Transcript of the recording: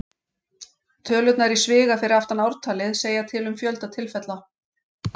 Tölurnar í sviga fyrir aftan ártalið segja til um fjölda tilfella.